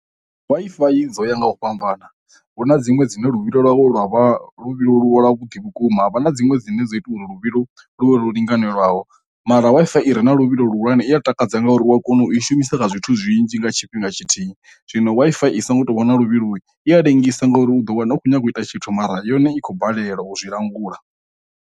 Wi-Fi i dzo ya nga u fhambana vhu na dziṅwe dzine luvhilo lwo lwa vha luvhilo lwo lwa vhuḓi vhukuma ha vha na dziṅwe dzine dzo ita uri luvhilo lune lwo linganelaho, mara Wi-Fi i re na luvhilo lu hulwane i ya takadza ngori wa kona u i shumisa kha zwithu zwinzhi nga tshifhinga tshithihi, zwino Wi-Fi i songo tou wana luvhilo i a lengisa ngauri u ḓo wana u khou nyanga u ita tshithu mara yone i khou balelwa u zwi langula.